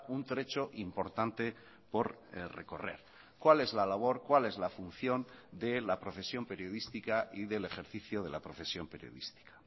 un trecho importante por recorrer cuál es la labor cuál es la función de la profesión periodística y del ejercicio de la profesión periodística